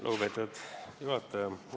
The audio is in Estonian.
Lugupeetud juhataja!